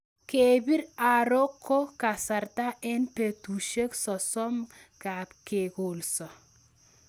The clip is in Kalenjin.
Kepir aro ko kasarta eng' petushek sosom ngap ke kolso